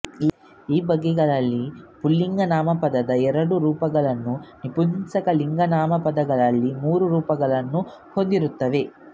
ಈ ಬಗೆಗಳಲ್ಲಿ ಪುಲ್ಲಿಂಗ ನಾಮಪದಗಳು ಎರಡು ರೂಪಗಳನ್ನು ನಪುಂಸಕ ಲಿಂಗನಾಮಪದಗಳು ಮೂರು ರೂಪಗಳನ್ನು ಹೊಂದಿರುತ್ತವೆ